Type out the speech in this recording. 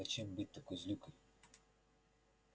зачем быть такой злюкой